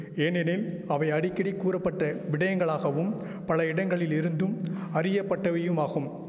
ஏனெனின் அவை அடிக்கடி கூறப்பட்ட விடயங்களாகவும் பல இடங்களிலிருந்தும் அறியப்பட்டவையுமாகும்